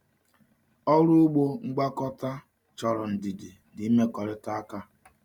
Ọrụ ugbo ngwakọta chọrọ ndidi na imekọrịta aka.